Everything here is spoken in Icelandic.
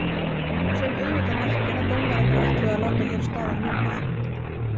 Sem auðvitað merkir að dómararnir ætluðu að láta hér staðar numið.